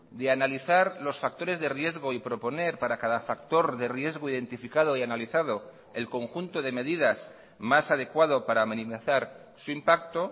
de analizar los factores de riesgo y proponer para cada factor de riesgo identificado y analizado el conjunto de medidas más adecuado para minimizar su impacto